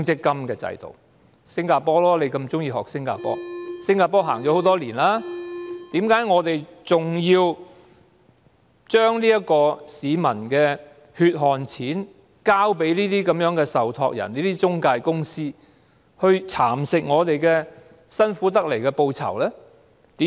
既然新加坡已實行了很多年，為何我們還要將市民的血汗錢交給那些受託人、中介公司，讓他們蠶食我們辛苦賺來的報酬呢？